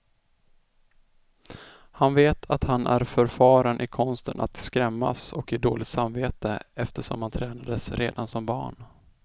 Han vet att han är förfaren i konsten att skrämmas och ge dåligt samvete, eftersom han tränades redan som barn.